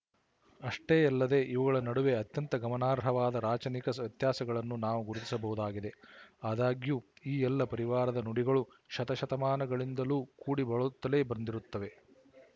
ಅಷ್ಟೇ ಯಲ್ಲದೇ ಇವುಗಳ ನಡುವೆ ಅತ್ಯಂತ ಗಮನಾರ್ಹವಾದ ರಾಚನಿಕ ವ್ಯತ್ಯಾಸಗಳನ್ನು ನಾವು ಗುರುತಿಸಬಹುದಾಗಿದೆ ಆದಾಗ್ಯೂ ಈ ಎಲ್ಲ ಪರಿವಾರದ ನುಡಿಗಳು ಶತಶತಮಾನಗಳಿಂದಲೂ ಕೂಡಿ ಬಾಳುತ್ತಲೇ ಬಂದಿರುತ್ತವೆ